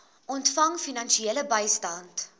ontvang finansiële bystand